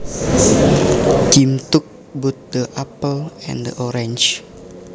Jim took both the apple and the orange